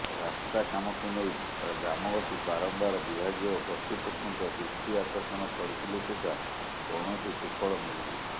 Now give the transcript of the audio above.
ରାସ୍ତା କାମକୁ ନେଇ ଗ୍ରାମବାସୀ ବାରମ୍ବାର ବିଭାଗୀୟ କର୍ତୃପକ୍ଷଙ୍କ ଦୃଷ୍ଟି ଆକର୍ଷଣ କରିଥିଲେ ସୁଦ୍ଧା କୌଣସି ସୁଫଳ ମିଳିନାହିଁ